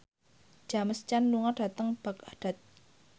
James Caan lunga dhateng Baghdad